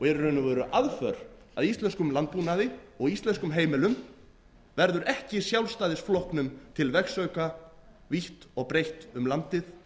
og veru aðför að íslenskum landbúnaði og íslenskum heimilum verður ekki sjálfstæðisflokknum til vegsauka vítt og breitt um landið